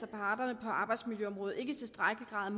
af parterne på arbejdsmiljøområdet ikke i tilstrækkelig grad